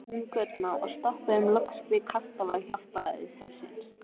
Túngötuna og stoppuðum loks við kastala Hjálpræðishersins.